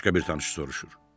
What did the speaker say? Başqa bir tanış soruşur.